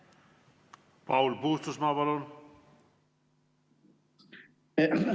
Paul Puustusmaa, palun!